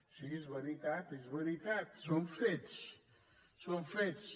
sí és veritat és veritat són fets són fets